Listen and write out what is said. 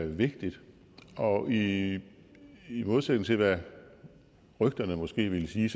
vigtigt og i modsætning til hvad rygterne måske vil sige